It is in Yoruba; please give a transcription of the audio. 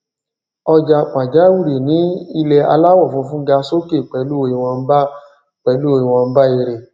ọjà pàjáwìrì ní ilè aláwò funfun ga sókè pèlú ìwònba pèlú ìwònba èrè